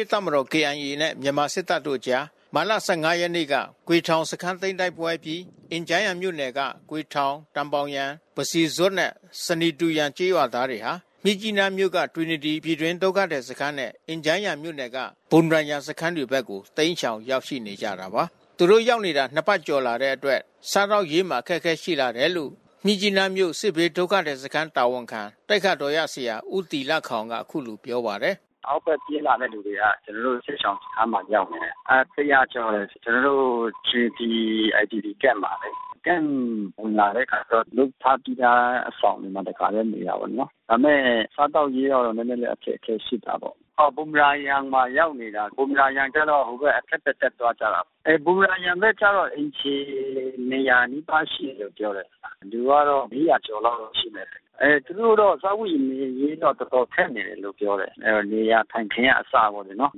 ရေးတပ်မတော် (KIA) နဲ့ မြန်မာစစ်တပ်တို့အကြား မတ်လ(၁၅) ရက်နေ့က ဂွေထောင် စခန်းတိုက်ပွဲအပြီး အင်ဂျားယန်မြို့နယ်က ဂွေထောင်၊ တန်ဘောင်ယန်၊ ပစီဇွပ် နဲ့ ဆနီတူယန် ကျေးရွာသားတွေဟာ မြစ်ကြီးနားမြို့က တွီနတီ ပြည်တွင်းဒုက္ခသည် IDP စခန်းနဲ့ အင်ဂျန်းယန်မြို့နယ်က ဘွမ်ရာယန် စခန်းတွေဘက်ကို တိမ်းရှောင်ရောက်ရှိ နေကြတာပါ။ သူတို့ရောက်နေတာ နှစ်ပတ်ကျော်လာတဲ့အတွက် စားသောက်ရေးမှာအခက်ခဲရှိလာတယ်လို့ မြစ်ကြီးနား မြို့စစ်ဘေးဒုက္ခသည်စခန်းတာဝန်ခံ သိက္ခာတော်ရဆရာဦးတီလခေါင်ကအခုလိုပြောပါတယ်။ “အောက်ဘက်ပြေးလာသူတွေကတော့ကျွန်တော်တို့ စစ်ရှောင်စခန်းကိုရောက်နေတယ်။ အဲ(၁၀၀)ကျော်တယ်။ ကျွန်တော်တို့ တွီနတီ IDP Camp မှာလေ။ Camp ဝင်လာတဲ့အခါကျတော့ လုပ်ထားပြီးသားအဆောင်မှာ တခါ တည်း နေရတာပေါ့နော်။ ဒါပေမဲ့စားသောက်ရေးကတော့နဲနဲအခက်ခဲရှိတာပေါ့။ ဘွမ်ရာယန်မှာရောက်နေတာ။ ဘွမ်ရာယန်ကျတော့ ဟိုဘက်အထက်ဘက်တက်သွားတာပေါ့။ ဘွမ်ရာယန်ကျတော့အိမ်ခြေ(၂၀၀)နီးပါး ရှိတယ် လို့ပြောတယ်။ လူကတော့(၄၀၀)ကျော်လောက်တော့ရှိမယ်။ အဲသူတို့တော့စားဝတ်နေရေးက တော်တော်ခက် နေတယ်လို့ပြောတယ်။ နေရာထိုင်းခင်းကအစပေါ့လေနော်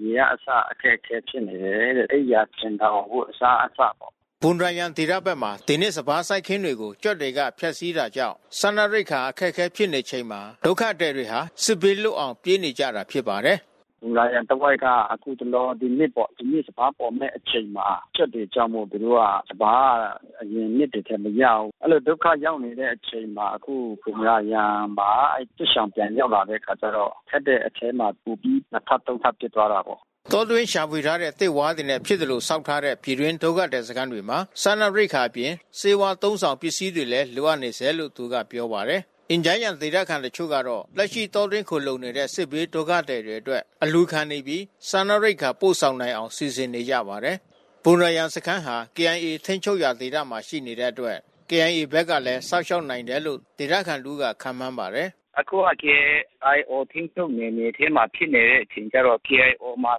။ ရေကအစအခက်ခဲဖြစ်နေတယ်။ အိပ်ယာခြင်ထောင် အဝတ်အစားအစပေါ့။” ဘွမ်ရာယန်ဒေသဖက်မှာ ဒီနှစ်စပါးစိုက်ခင်းတွေကို ကြွက်တွေက ဖျက်စီးတာကြောင့် စားနပ် ရိက္ခာအခက်ခဲဖြစ်နေချိန်မှာ ဒုက္ခသည်တွေဟာ စစ်ဘေးလွတ်အောင် ပြေးနေကြရတာဖြစ်ပါတယ်။ “ဘွမ်ရာယန်တဝိုက်က အခုတလော။ ဒီနှစ်ပေါ့။ ဒီနှစ်စပါးပေါ်မဲ့အချိန်မှာ ကြွက်တွေကြောင့်မို့သူတို့က စပါးက အရင် နှစ်တွေထက်မရဘူး။ အဲဒီလိုဒုက္ခရောက်နေတဲ့အချိန်ှမှာ အခုဘွမ်ရာယန်မှာ စစ်ရှောင်တွေပြန်ရောက်တဲ့ အချိန်ကျတော့ ခက်တဲ့အထဲမှာပိုပြီး နှစ်ထပ်သုံးထပ်ဖြစ်သွားတာပေါ့။” တောတွင်းရှာဖွေထားတဲ့သစ်ဝါးတွေနဲ့ဖြစ်သလိုဆောက်လုပ်ထားတဲ့ ပြည်တွင်းဒုက္ခသည်စခန်းတွေမှာ စားနပ်ရိက္ခာအပြင် ဆေးဝါးအသုံးဆောင်ပစ္စည်းတွေလဲလိုအပ်နေဆဲလို့ သူက ပြောပါတယ်။ အင်ဂျန်းယန်ဒေသခံတချို့ကတော့ လက်ရှိတောတွင်းခိုလှုံနေတဲ့ စစ်ဘေး ဒုက္ခသည်တွေအတွက် အလှူခံနေပြီး စားနပ်ရိက္ခာ ပို့ဆောင်နိုင်အောင်စီစဉ်နေကြပါတယ်။ ဘွမ်ရာယန်စခန်းဟာ KIAထိမ်းချုပ်ရာဒေသမှာရှိနေတဲ့အတွက် KIA ဘက်ကလဲစောင့်ရှောက်နိုင်တယ်လို့ ဒေသခံတဦးက ခန့်မှန်းပါတယ်။ “အခုက KIO ထိမ်းချုပ်နယ်မြေထဲမှာဖြစ်တဲ့အခါကျတော့ KIO မှာ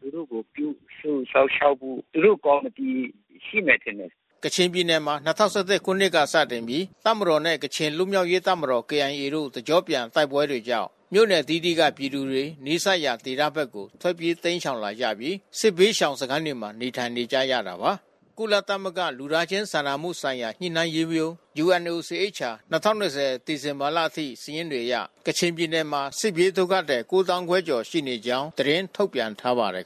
သူတို့ကိုပြုစုစောင့်ရှောက်ဖို့ သူတို့ကော်မီတီရှိ မယ်ထင်တယ်။” ကချင်ပြည်နယ်မှာ၂၀၁၁ ခုနှစ်မှ စတင်ပြီး တပ်မတော်နဲ့ ကချင်လွတ်မြောက်ရေးတပ်မတော် KIA တို့ တစ်ကျော့ပြန် တိုက်ပွဲတွေကြောင့် မြို့နယ်အသီးသီးက ပြည်သူတွေ နီးစပ်ရာ ဒေသဖက်ကိုထွက်ပြေးတိမ်းရှောင်လာပြီး စစ်ဘေး ရှောင် စခန်းတွေမှာနေထိုင်နေရတာပါ။ ကုလသမဂ္ဂလူသားချင်းစာနာမှုဆိုင်ရာ ညှိနှိုင်းရေးရုံး (UNOCHA) 2020 စက်တင်ဘာလအထိ စာရင်းတွေအရ ကချင်ပြည်နယ်မှာ စစ်ဘေးဒုက္ခသည် ၉ သောင်းခွဲကျော် ရှိကြောင်းသတင်းထုတ်ပြန်ထားပါတယ်